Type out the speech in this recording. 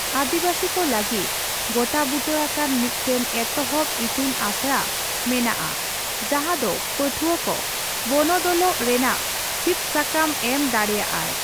ᱟᱹᱫᱤᱵᱟᱥᱤ ᱠᱚ ᱞᱟᱹᱜᱤᱫ ᱜᱚᱴᱟᱵᱩᱴᱟᱹ ᱟᱠᱟᱱ ᱢᱤᱫᱴᱟᱝ ᱮᱛᱚᱦᱚᱵ ᱤᱛᱩᱱ ᱟᱥᱲᱟ ᱢᱮᱱᱟᱜᱼᱟ ᱡᱟᱦᱟᱸ ᱫᱚ ᱯᱟᱹᱴᱷᱣᱟᱹ ᱠᱚ ᱵᱚᱱᱚᱫᱚᱞᱚᱜ ᱨᱮᱱᱟᱜ ᱥᱤᱫ ᱥᱟᱠᱟᱢ ᱮᱢ ᱫᱟᱲᱮᱭᱟᱜᱼᱟᱭ ᱾